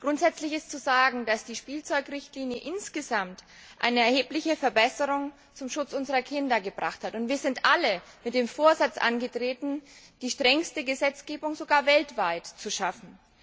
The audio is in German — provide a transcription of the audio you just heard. Grundsätzlich ist zu sagen, dass die Spielzeugrichtlinie insgesamt eine erhebliche Verbesserung zum Schutz unserer Kinder gebracht hat. Wir sind alle mit dem Vorsatz angetreten, die strengste Gesetzgebung sogar weltweit zu schaffen.